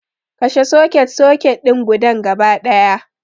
Kashe soket-soket din gudan gaba ɗaya